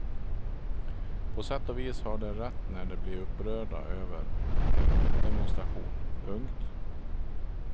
På sätt och vis har de rätt när de blir upprörda över en motdemonstration. punkt